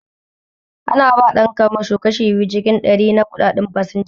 Ana ba ɗan kamasho kashi biyu cikin ɗari na kuɗaɗen fasinja